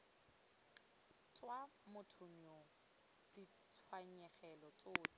tswa mothong yoo ditshenyegelo tsotlhe